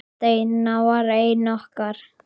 Steina var ein okkar.